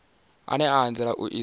ane a anzela u iswa